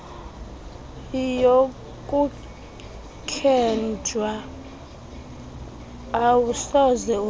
yokuthenjwa awusoze ulale